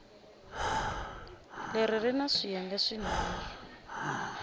leri ri na swiyenge swinharhu